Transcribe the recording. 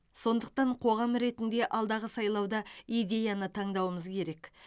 сондықтан қоғам ретінде алдағы сайлауда идеяны таңдауымыз керек